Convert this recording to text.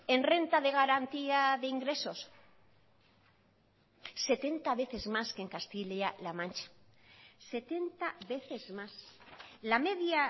en renta de garantía de ingresos setenta veces más que en castilla la mancha setenta veces más la media